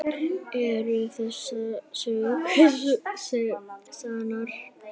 Eru þessar sögur sannar?